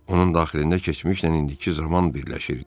Onun daxilində keçmişlə indiki zaman birləşirdi.